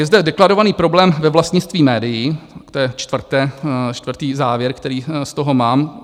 Je zde deklarovaný problém ve vlastnictví médií, to je čtvrtý závěr, který z toho mám.